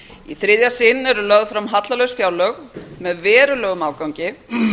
í þriðja sinn eru lögð fram hallalaus fjárlög með verulegum afgangi